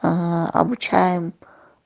аа обучаем